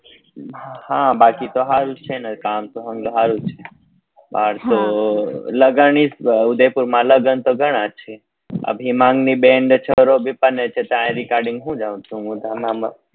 હા બાકી તો હારું જ છે ને કામ તો હારું છે બાર તો લગન હી લગન તો ગણા જ છે અભિમાન ની બને ને છોરો પરને છે ત્યાં ગાડી કોણ